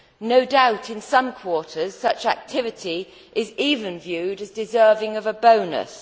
No doubt in some quarter, such activity is even viewed as deserving of a bonus.